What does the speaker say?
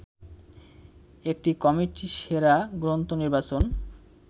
একটি কমিটি সেরা গ্রন্থ নির্বাচন